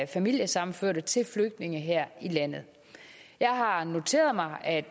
familiesammenførte til flygtninge her i landet jeg har noteret mig at